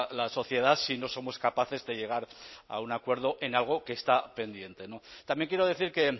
la sociedad si no somos capaces de llegar a un acuerdo en algo que está pendiente también quiero decir que